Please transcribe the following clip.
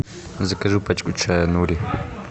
закажи пачку чая нури